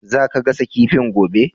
Za ka gasa kifin gobe?